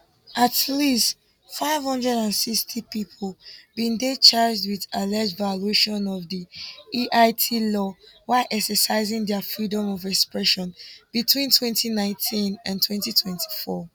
at least 560 pipo bin dey charged wit alleged violations of di eit law while exercising dia freedom of expression between 2019 and 2024